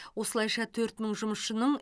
осылайша төрт мың жұмысшының